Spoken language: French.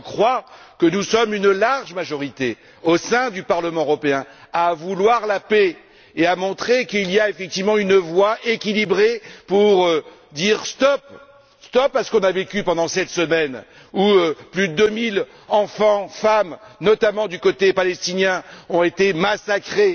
Or, je crois que nous sommes une large majorité au sein du Parlement européen à vouloir la paix et à montrer qu'il y a effectivement une voix équilibrée pour dire stop à ce qu'on a vécu pendant cette semaine où plus de deux mille enfants, femmes, notamment du côté palestinien, ont été massacrés.